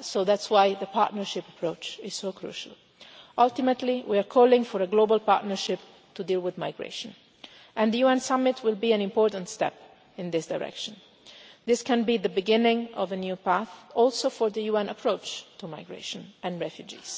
so that's why the partnership approach is so crucial. Ultimately we are calling for a global partnership to deal with migration, and the UN summit will be an important step in this direction. This can be the beginning of a new path, also for the UN approach to migration and refugees.